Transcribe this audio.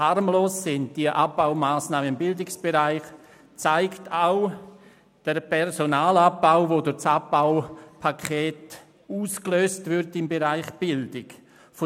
Dass die Abbaumassnahmen alles andere als harmlos sind, zeigt auch der Personalabbau, der durch das Abbaupaket im Bereich der Bildung ausgelöst wird.